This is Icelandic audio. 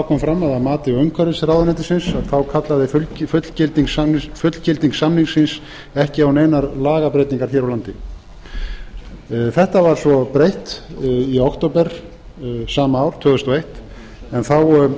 kom fram að að mati umhverfisráðuneytisins kallaði fullgilding samningsins ekki á neinar lagabreytingar hér á landi þessu var svo breytt í október sama ár tvö þúsund og eitt en þá